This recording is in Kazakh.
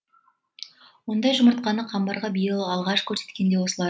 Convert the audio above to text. ондай жұмыртқаны қамбарға биыл алғаш көрсеткен де осылар